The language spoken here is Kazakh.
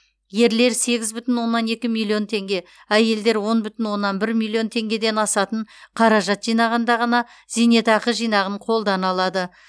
ерлер сегіз бүтін оннан екі миллион теңге әйелдер он бүтін оннан бір миллион теңгеден асатын қаражат жинағанда ғана зейнетақы жинағын қолдана алады